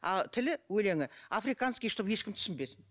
а тілі өлеңі африканский чтобы ешкім түсінбесін